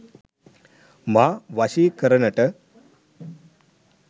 මා වශී කරනට